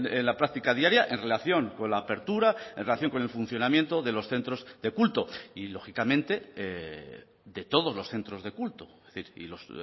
en la práctica diaria en relación con la apertura en relación con el funcionamiento de los centros de culto y lógicamente de todos los centros de culto es decir y los